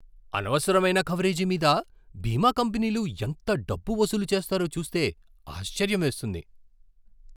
అనవసరమైన కవరేజీ మీద బీమా కంపెనీలు ఎంత డబ్బు వసూలు చేస్తారో చూస్తే ఆశ్చర్యం వేస్తుంది.